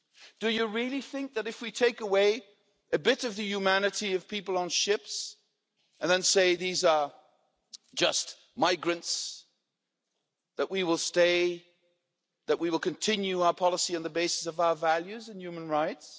Do you really think that if we take away a bit of the humanity of people on ships and say these are just migrants, that we will continue our policy on the basis of our values and human rights?